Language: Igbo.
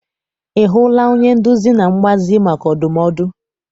I hụla onye nduzi na mgbazi maka ndumodu?